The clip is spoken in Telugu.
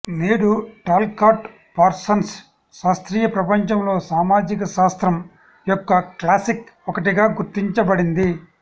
నేడు టాల్కాట్ పార్సన్స్ శాస్త్రీయ ప్రపంచంలో సామాజిక శాస్త్రం యొక్క క్లాసిక్ ఒకటిగా గుర్తించబడింది